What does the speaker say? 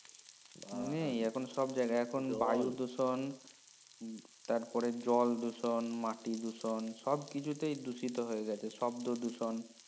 নেই এখন সব জায়গাই এখন বায়ু দূষণ, তারপরে যে জল দূষণ মাটি দূষণ সব কিছু তে দূষিতো হয়ে গেছে শব্দ দূষণ